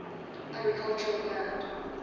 agricultural land